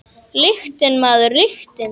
Lyktin, maður, lyktin!